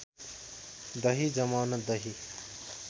दही जमाउन दही